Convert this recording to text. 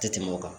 Tɛ tɛmɛ o kan